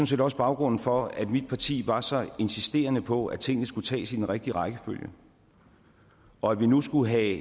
set også baggrunden for at mit parti var så insisterende på at tingene skulle tages i den rigtige rækkefølge og at vi nu skulle have en